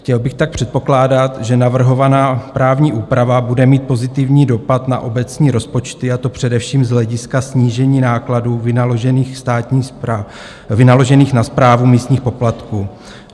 Chtěl bych tak předpokládat, že navrhovaná právní úprava bude mít pozitivní dopad na obecní rozpočty, a to především z hlediska snížení nákladů vynaložených na správu místních poplatků.